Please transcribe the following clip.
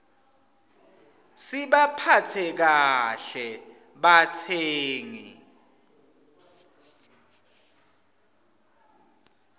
sibaphatse kahle batsengi